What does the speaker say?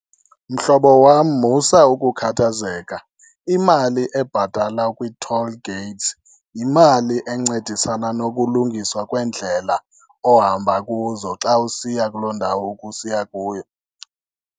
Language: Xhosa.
Mhlobo wam, musa ukukhathazeka. Imali ebhatalwa kwii-toll gates yimali encedisana nokulungiswa kweendlela ohamba kuzo xa usiya kuloo ndawo ukusiya kuyo.